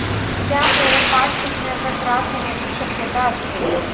त्यामुळे पाठ दुखण्याचा त्रास होण्याची शक्यता असते.